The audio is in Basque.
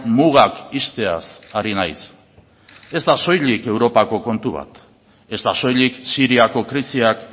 mugak ixteaz ari naiz ez da soilik europako kontu bat ez da soilik siriako krisiak